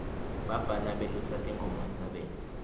bafana belusa tinkhomo entsabeni